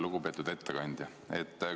Lugupeetud ettekandja!